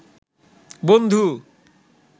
বন্ধু